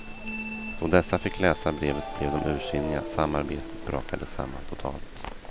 Då dessa fick läsa brevet blev de ursinniga samarbetet brakade samman totalt.